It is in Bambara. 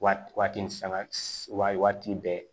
Waati waati ni sanga waati bɛɛ